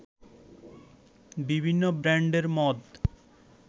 বিভিন্ন ব্র্যান্ডের মদ